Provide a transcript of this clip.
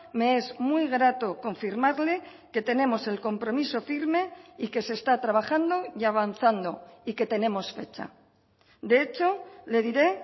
me es muy grato confirmarle que tenemos el compromiso firme y que se está trabajando y avanzando y que tenemos fecha de hecho le diré